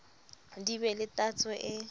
di be le tatso e